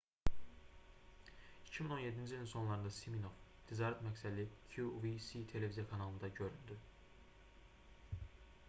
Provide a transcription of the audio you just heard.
2017-ci ilin sonlarında siminoff ticarət məqsədli qvc televiziya kanalında göründü